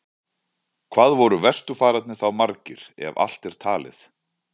Hvað voru vesturfararnir þá margir, ef allt er talið?